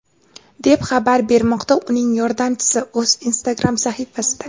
deb xabar bermoqda uning yordamchisi o‘z Instagram sahifasida.